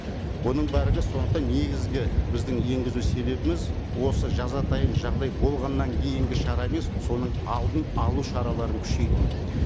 бұның сондықтан негізгі біздің енгізу себебіміз осы жазатайым жағдай болғаннан кейінгі шара емес соның алдын алу шараларын күшейту